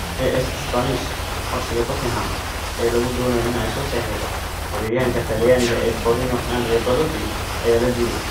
(AS - Isbaanish) Codsiga Tottenham ee lagu doonayo in ay soo saxiixato weeraryahanka Talyaaniga ee Torino Andrea Belotti ayaa la diiday.